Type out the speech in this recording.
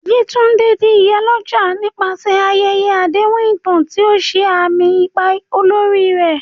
Yewande di "Iyalode" nípasẹ̀ ayẹyẹ àdéhùn ìtàn, tí ó ṣe àmì ipa olórí rẹ̀.